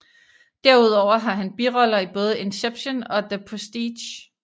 Derudover har han biroller i både Inception og The Prestige